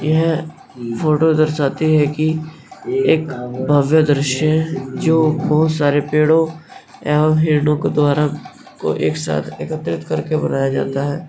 यह फोटो दर्शाती है की एक भव्य दृश्य जो बहुत सारे पेड़ों एवं हिरणो के द्वारा को एक साथ एकत्रित कर के बनाया जाता है।